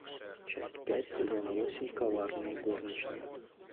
часть пять сезона восемь коварные горничные